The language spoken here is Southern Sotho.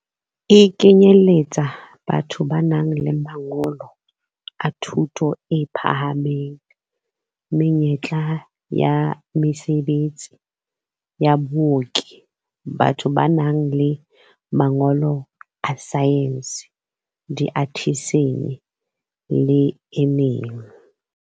E kenyeletsa batho ba nang le mangolo a thuto e phahameng, menyetla ya mesebetsi ya baoki, batho ba nang le mangolo a saense, diathesine le e meng.